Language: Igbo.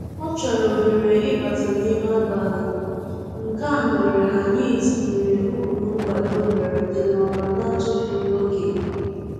Ọ chọrọ ohere ịbata n'ime abalị, nke a mere anyị tinyere ụkpụrụ nkwado mberede n'ọrụ na-atụfughị oge